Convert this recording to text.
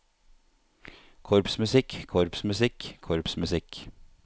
korpsmusikk korpsmusikk korpsmusikk